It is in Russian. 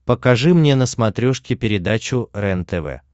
покажи мне на смотрешке передачу рентв